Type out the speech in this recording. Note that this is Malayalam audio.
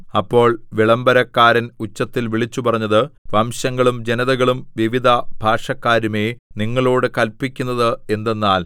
അപ്പോൾ വിളംബരക്കാരൻ ഉച്ചത്തിൽ വിളിച്ചുപറഞ്ഞത് വംശങ്ങളും ജനതകളും വിവിധ ഭാഷക്കാരുമേ നിങ്ങളോടു കല്പിക്കുന്നത് എന്തെന്നാൽ